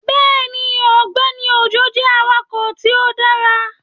Bẹẹni, Ọgbẹni Ojo jẹ awakọ ti o dara